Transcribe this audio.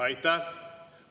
Aitäh!